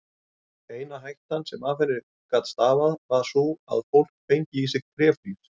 Eina hættan sem af henni gat stafað var sú að fólk fengi í sig tréflís.